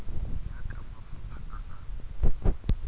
ya ka mafapha a a